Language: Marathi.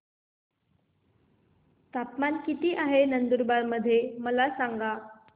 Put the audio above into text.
तापमान किता आहे नंदुरबार मध्ये मला सांगा